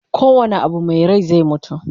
ko wane Abu Mai Rai zai mutu